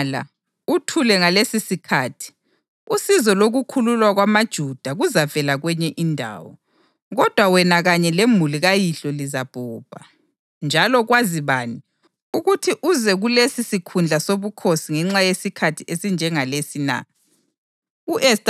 Nxa ungala uthule ngalesisikhathi, usizo lokukhululwa kwamaJuda kuzavela kwenye indawo, kodwa wena kanye lemuli kayihlo lizabhubha. Njalo kwazi bani, ukuthi uze kulesi sikhundla sobukhosi ngenxa yesikhathi esinjengalesi na?”